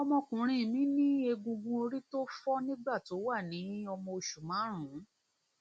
ọmọkùnrin mi ní egungun orí tó fọ nígbà tó wà ní ọmọ oṣù márùnún